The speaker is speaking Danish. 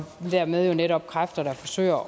dermed jo altså netop kræfter der forsøger